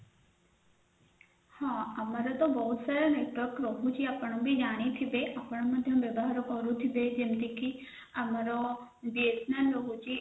ହଁ ଆମର ଗୋଟେ wifi network ରହୁଛି ଆପଣବି ଜାଣିଥିବେ ଆପଣବି ବ୍ୟବହାର କରୁଥିବେ ଯେମିତି କି ଆମର BSNL ରହୁଛି